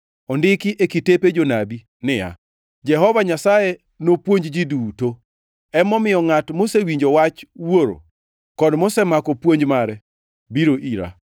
Ondiki e kitepe Jonabi ni, ‘Jehova Nyasaye nopuonj ji duto.’ + 6:45 \+xt Isa 54:13\+xt* Emomiyo ngʼat mosewinjo wach Wuoro, kod mosemako puonj mare, biro ira.